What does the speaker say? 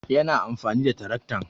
Yana amfani da taraktan